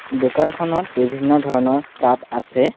দোকানখনত বিভিন্ন ধৰণৰ কাপ আছে।